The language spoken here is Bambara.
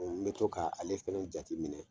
, n bɛ to k' ale fana jate minɛ.